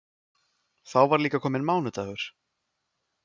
Þá var líka kominn mánudagur.